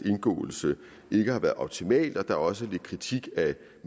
indgåelse ikke har været optimal og der er også lidt kritik af